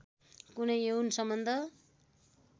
कुनै यौन सम्बन्ध